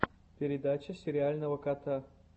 передача сериального кота